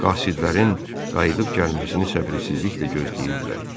Qasidlərin qayıdıb gəlməsini səbirsizliklə gözləyirdilər.